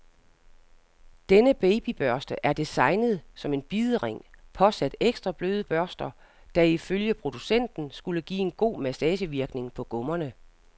Denne babybørste er designet som en bidering påsat ekstra bløde børster, der ifølge producenten, skulle give en god massagevirkning på gummerne.